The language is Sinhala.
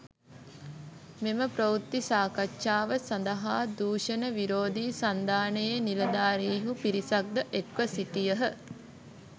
මෙම ප්‍රවෘත්ති සාකච්ඡාව සඳහා දූෂණ විරෝධී සන්ධානයේ නිලධාරීහු පිරිසක්‌ ද එක්‌ව සිටියහ.